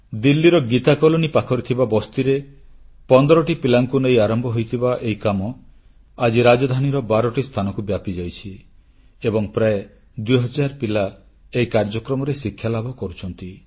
ଦିଲ୍ଲୀର ଗୀତା କଲୋନୀ ପାଖରେ ଥିବା ବସ୍ତିରେ 15ଟି ପିଲାଙ୍କୁ ନେଇ ଆରମ୍ଭ ହୋଇଥିବା ଏହି କାମ ଆଜି ରାଜଧାନୀର ବାରଟି ସ୍ଥାନକୁ ବ୍ୟାପିଯାଇଛି ଏବଂ ପ୍ରାୟ 2000 ପିଲା ଏହି କାର୍ଯ୍ୟକ୍ରମରେ ଶିକ୍ଷାଲାଭ କରୁଛନ୍ତି